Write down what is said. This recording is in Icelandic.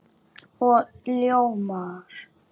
Og ljómar.